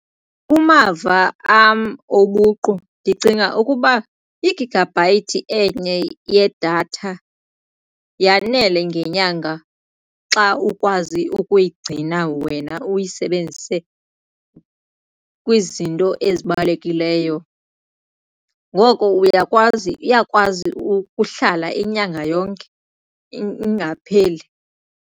Kumava am obuqu ndicinga ukuba igigabhayithi enye yedatha yanele ngenyanga xa ukwazi ukuyigcina wena yena uyisebenzise kwizinto ezibalulekileyo ngoko iyakwazi ukuhlala inyanga yonke ingapheli.